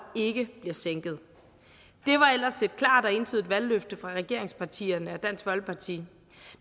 ikke bliver sænket det var ellers et klart og entydigt valgløfte fra regeringspartierne og dansk folkeparti